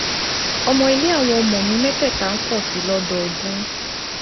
owó iléèwé àwọn ọmọ mi mẹ́tẹ̀ẹ̀ta ń pọ̀ sí i lọ́dọọdún